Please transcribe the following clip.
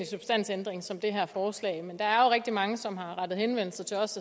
substansændring som i det her forslag men der er rigtig mange som har rettet henvendelse til os